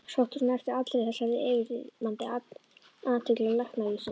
Sóttist hún eftir allri þessari yfirþyrmandi athygli læknavísindanna?